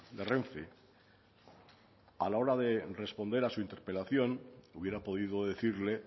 de renfe a la hora de responder a su interpelación hubiera podido decirle